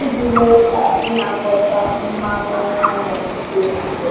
iji mee ka ịnakọta mmanụ anụ dị mfe.